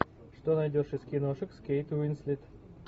что найдешь из киношек с кейт уинслет